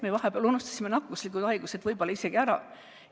Me vahepeal unustasime nakkushaigused võib-olla isegi ära.